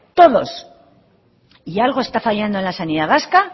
todos y algo está fallando en la sanidad vasca